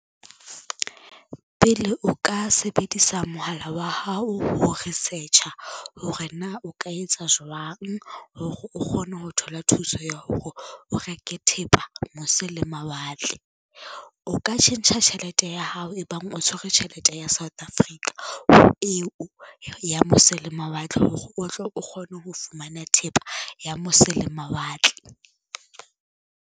Pele o ka sebedisa mohala wa hao ho research-a hore na o ka etsa jwang hore, o kgone ho thola thuso ya hore o reke thepa mose le mawatle. O ka tjhentjha tjhelete ya hao ebang o tshwere tjhelete ya South Africa ho eo ya mose le mawatle, hore o tle o kgone ho fumana thepa ya mose le mawatle.